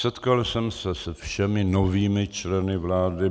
Setkal jsem se se všemi novými členy vlády.